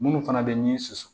Munnu fana bɛ ni susu